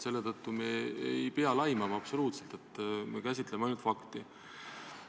Selle tõttu ei pea me absoluutselt laimama, me käsitleme ainult fakti.